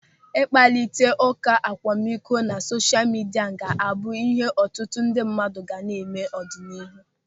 Ịkparịta ụka akwamikọ na sosha midia ga-abụ ịhe ọtụtụ ndị mmadụ ga na-eme n'ọdịnihu.